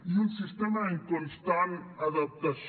i un sistema en constant adaptació